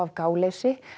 gáleysi